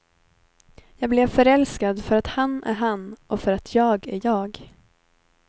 Jag blev förälskad för att han är han, och för att jag är jag.